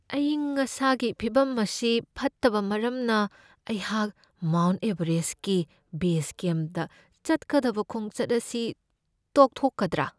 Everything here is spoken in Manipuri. ꯑꯏꯪ ꯑꯁꯥꯒꯤ ꯐꯤꯚꯝ ꯑꯁꯤ ꯐꯠꯇꯕ ꯃꯔꯝꯅ, ꯑꯩꯍꯥꯛ ꯃꯥꯎꯟꯠ ꯑꯦꯕꯔꯦꯁꯠꯀꯤ ꯕꯦꯖ ꯀꯦꯝꯞꯇ ꯆꯠꯀꯗꯕ ꯈꯣꯡꯆꯠ ꯑꯁꯤ ꯇꯣꯛꯊꯣꯛꯀꯗ꯭ꯔꯥ?